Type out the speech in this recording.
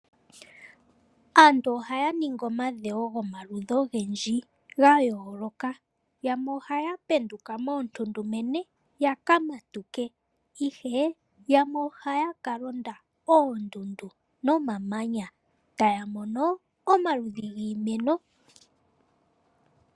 Aantu ohaya ningi omadhewo gomaludhi oyendji gayooloka. Yamwe ohaya penduka moontundumene yaka matuke, ihe yamwe ohaya kalonda oondundu nomamanya, taya mono omaludhi giimeno.